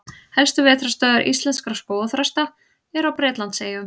Helstu vetrarstöðvar íslenskra skógarþrasta eru á Bretlandseyjum.